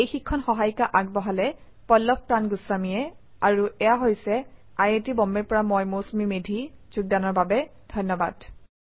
এই শিক্ষণ সহায়িকা আগবঢ়ালে পল্লভ প্ৰান গুস্বামীয়ে আই আই টী বম্বে ৰ পৰা মই মৌচুমী মেধী এতিয়া আপুনাৰ পৰা বিদায় লৈছো যোগদানৰ বাবে ধন্যবাদ